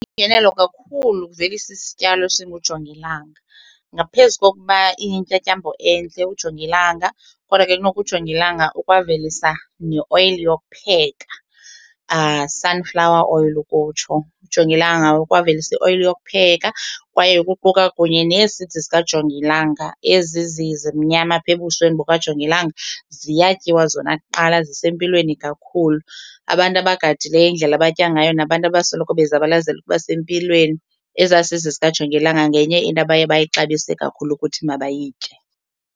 Yingenelo kakhulu ukuvelisa isityalo esingujongilanga ngaphezu kokuba iyintyatyambo entle ujongilanga kodwa ke noko ujongilanga ukwaveliswa neoyile yokupheka, sunflower oil ukutsho. Ujongilanga ukwaveliswa ioyile yokupheka kwaye kuquka kunye nee-seeds zikajongilanga, ezi zimnyama apha ebusweni bukajongilanga ziyatyiwa zona kuqala zisempilweni kakhulu. Abantu abagadileyo indlela abatya ngayo nabantu abasoloko bezabalazela ukuba sempilweni ezaa seeds zikajongilanga ngenye into abaye bayixabise kakhulu ukuthi mabayitye.